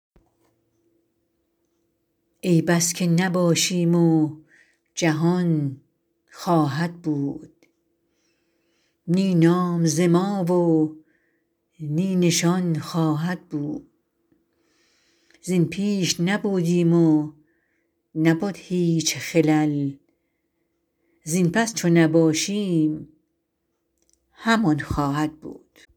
ای بس که نباشیم و جهان خواهد بود نی نام ز ما و نی نشان خواهد بود زین پیش نبودیم و نبد هیچ خلل زین پس چو نباشیم همان خواهد بود